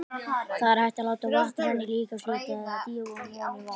Þá er hægt að láta vatn renna á líkamshlutann eða dýfa honum ofan í vatn.